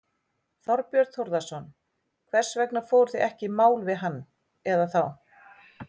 Þorbjörn Þórðarson: Hvers vegna fóruð þið ekki í mál við hann eða þá?